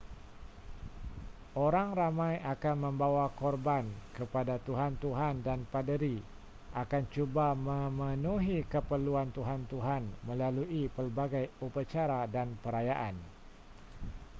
orang ramai akan membawa korban kepada tuhan-tuhan dan paderi akan cuba memenuhi keperluan tuhan-tuhan melalui pelbagai upacara dan perayaan